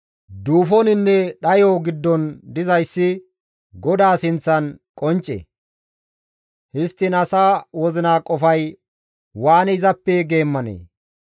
Duufoninne dhayo giddon dizayssi GODAA sinththan qoncce; histtiin asa wozina qofay waani izappe geemmanee?